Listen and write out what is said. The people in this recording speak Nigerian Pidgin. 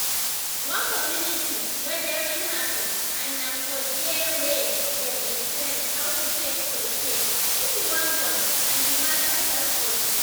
one community gathering happen and na for diawey dem explain how to take prepare if you wan born and d matter help us